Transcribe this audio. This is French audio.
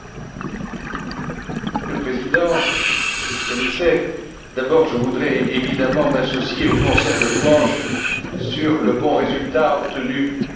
Monsieur le Président, Monsieur le Commissaire, d'abord je voudrais évidemment m'associer au concert de louanges sur le bon résultat obtenu en matière de supervision.